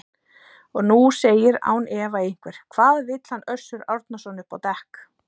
Og nú segir án efa einhver: Hvað vill hann Össur Árnason upp á dekk?